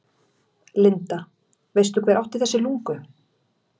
Linda: Veistu hver átti þessi lungu?